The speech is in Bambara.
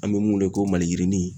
An bɛ mun wele ko Maliyirinin.